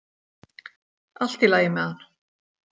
Allt í lagi með hann.